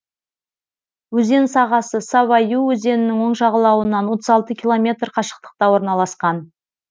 өзен сағасы сава ю өзенінің оң жағалауынан отыз алты километр қашықтықта орналасқан